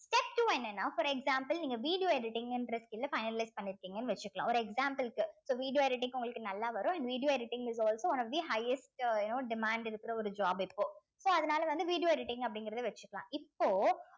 step two என்னன்னா for example நீங்க video editing ன்ற skill அ finalize பண்ணிருக்கீங்கனு வச்சுக்கலாம் ஒரு example க்கு so video editing உங்களுக்கு நல்லா வரும் and video editing is also one of the highest you know demand இருக்கிற ஒரு job இப்போ so அதனால வந்து video editing அப்படிங்கிறதை வச்சுக்கலாம் இப்போ